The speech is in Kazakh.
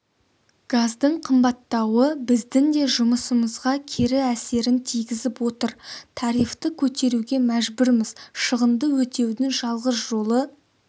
газдың қымбаттауы біздің де жұмысымызға кері әсерін тигізіп отыр тарифті көтеруге мәжбүрміз шығынды өтеудің жалғыз жолы